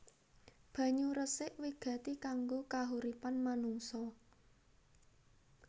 Banyu resik wigati kanggo kahuripan manungsa